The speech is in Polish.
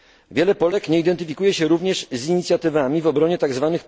Wiele Polek nie identyfikuje się również z inicjatywami w obronie tzw.